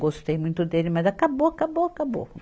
Gostei muito dele, mas acabou, acabou, acabou.